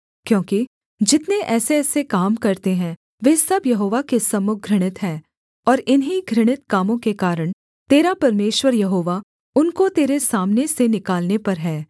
क्योंकि जितने ऐसेऐसे काम करते हैं वे सब यहोवा के सम्मुख घृणित हैं और इन्हीं घृणित कामों के कारण तेरा परमेश्वर यहोवा उनको तेरे सामने से निकालने पर है